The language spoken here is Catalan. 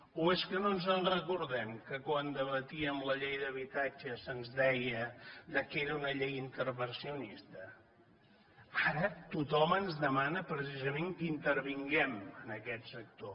o és que no ens recordem que quan debatíem la llei d’habitatge se’ns deia que era una llei intervencionista ara tothom ens demana precisament que intervinguem en aquest sector